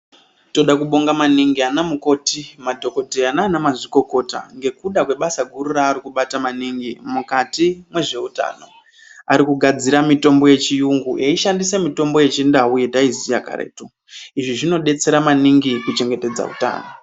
Tinoda kubonga maningi ana mukoti, madhokodheya nanamazvikokota nekuda kwebasa guru raari kubata maningi mukati mwezveutano, arikugadzira mitombo yechiyungu eishandise mitombo yechindau yataiziya karetu izvi zvinodetsera maningi kuchengetedza utano.